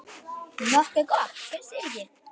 Nokkuð gott, finnst þér ekki?